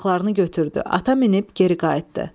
Yaraqlarını götürdü, ata minib geri qayıtdı.